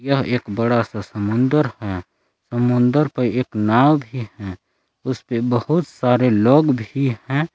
यह एक बड़ा सा समुंदर है समुंदर पर एक नाव भी है। उसपे बहुत सारे लोग भी है।